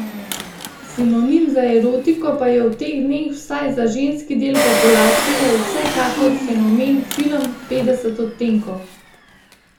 Sinonim za erotiko pa je v teh dneh vsaj za ženski del populacije vsekakor fenomen film Petdeset odtenkov.